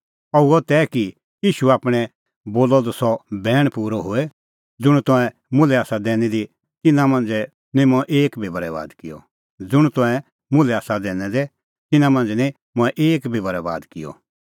अह हुअ तै कि ईशू आप्पै बोलअ द सह बैण पूरअ होए ज़ुंण तंऐं मुल्है आसा दैनै दै तिन्नां मांझ़ै निं मंऐं एक बी बरैबाद किअ